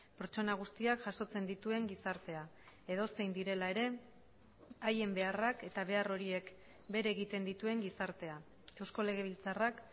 pertsona guztiak jasotzen dituen gizartea edozein direla ere haien beharrak eta behar horiek bere egiten dituen gizartea eusko legebiltzarrak